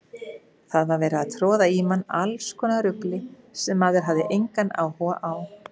Það var verið að troða í mann allskonar rugli sem maður hafði engan áhuga á.